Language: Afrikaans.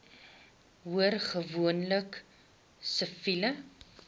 hoor gewoonlik siviele